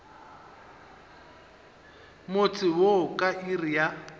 motse wo ka iri ya